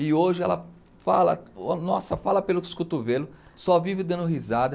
E hoje ela fala nossa fala pelos cotovelos, só vive dando risada.